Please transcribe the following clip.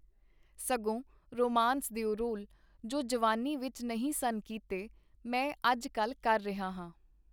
ਸਗੋਂ ਰੁਮਾਂਸ ਦਿਓ ਰੋਲ, ਜੋ ਜਵਾਨੀ ਵਿਚ ਨਹੀਂ ਸਨ ਕੀਤੇ, ਮੈਂ ਅੱਜ-ਕੱਲ੍ਹ ਕਰ ਰਿਹਾ ਹਾਂ.